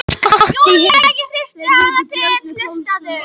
Júlía, ég hristi hana til, hlustaðu!